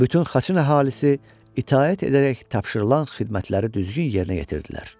Bütün Xaçın əhalisi itaət edərək tapşırılan xidmətləri düzgün yerinə yetirdilər.